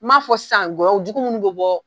N m'a fɔ san kɔyɔ jugu minnu bɛ bɔ.